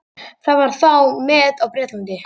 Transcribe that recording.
Það var þá met á Bretlandi.